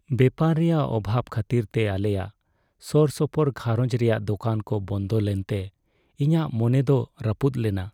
ᱵᱮᱯᱟᱨ ᱨᱮᱭᱟᱜ ᱚᱵᱷᱟᱵᱽ ᱠᱷᱟᱹᱛᱤᱨᱛᱮ ᱟᱞᱮᱭᱟᱜ ᱥᱳᱨᱥᱳᱯᱳᱨ ᱜᱷᱟᱨᱚᱸᱡᱽ ᱨᱮᱭᱟᱜ ᱫᱳᱠᱟᱱ ᱠᱚ ᱵᱚᱱᱫᱚ ᱞᱮᱱᱛᱮ ᱤᱧᱟᱹᱜ ᱢᱚᱱᱮ ᱫᱚ ᱨᱟᱹᱯᱩᱫ ᱞᱮᱱᱟ ᱾